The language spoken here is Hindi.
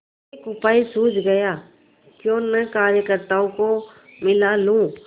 एक उपाय सूझ गयाक्यों न कार्यकर्त्ताओं को मिला लूँ